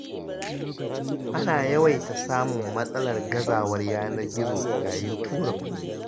Ana yawaita samun matsalar gazawar yanar gizo, yayin tura kuɗi.